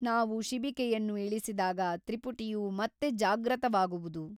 ನಾವು ಶಿಬಿಕೆಯನ್ನು ಇಳಿಸಿದಾಗ ತ್ರಿಪುಟಿಯು ಮತ್ತೆ ಜಾಗ್ರತವಾಗುವುದು.